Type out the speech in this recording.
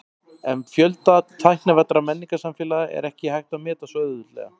En fjölda tæknivæddra menningarsamfélaga er ekki hægt að meta svo auðveldlega.